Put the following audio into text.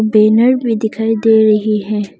Banner भी दिखाई दे रही है।